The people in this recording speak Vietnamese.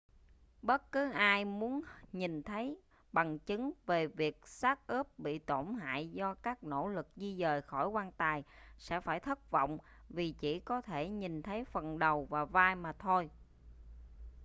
bất cứ ai muốn nhìn thấy bằng chứng về việc xác ướp bị tổn hại do các nỗ lực di dời khỏi quan tài sẽ phải thất vọng vì chỉ có thể nhìn thấy phần đầu và vai mà thôi